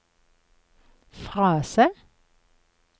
frase